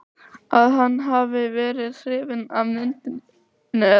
að hann hafi verið hrifinn af myndinni eða.